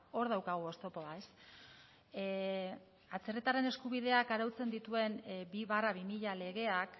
hor daukagu oztopoa ez atzerritarren eskubideak arautzen dituen bi barra bi mila legeak